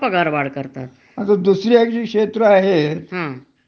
आणि ते मालकाच त्याच समाधान होत असेल,